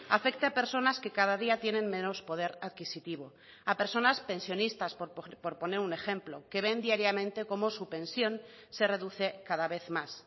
afecte a personas que cada día tienen menos poder adquisitivo a personas pensionistas por poner un ejemplo que ven diariamente cómo su pensión se reduce cada vez más